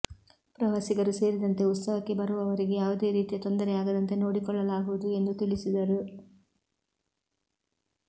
ಪ್ರವಾಸಿಗರು ಸೇರಿದಂತೆ ಉತ್ಸವಕ್ಕೆ ಬರುವವರಿಗೆ ಯಾವುದೇ ರೀತಿಯ ತೊಂದರೆಯಾಗದಂತೆ ನೋಡಿಕೊಳ್ಳಲಾಗುವುದು ಎಂದು ತಿಳಿಸಿದರು